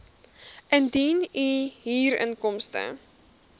indien u huurinkomste